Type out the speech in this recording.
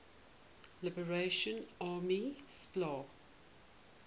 liberation army spla